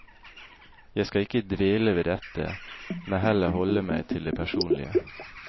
Jeg skal ikke dvele ved dette, men heller holde meg til det personlige.